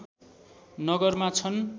नगरमा छन्